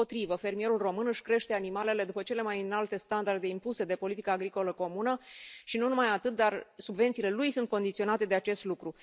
Dimpotrivă, fermierul român își crește animalele după cele mai înalte standarde impuse de politica agricolă comună și nu numai atât, dar subvențiile lui sunt condiționate de acest lucru.